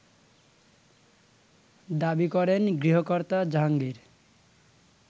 দাবি করেন গৃহকর্তা জাহাঙ্গীর